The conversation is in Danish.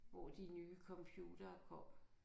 Hvor de nye computere kom